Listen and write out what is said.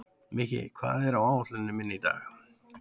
Mikki, hvað er á áætluninni minni í dag?